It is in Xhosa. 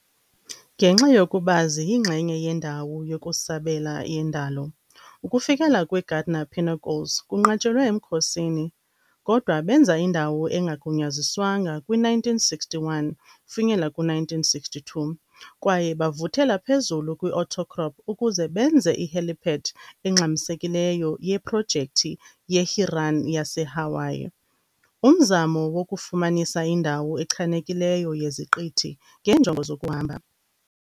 Ngenxa yokuba ziyingxenye yendawo yokusabela yendalo, ukufikelela kwi-Gardner Pinnacles kunqatshelwe emkhosini, kodwa benza indawo engagunyaziswanga kwi-1961-62 kwaye bavuthela phezulu kwi-outcrop ukuze benze i-helipad engxamisekileyo yeprojekthi ye-HIRAN yaseHawaii, umzamo wokufumanisa indawo echanekileyo yeziqithi ngeenjongo zokuhamba.